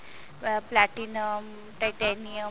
uh platinum titanium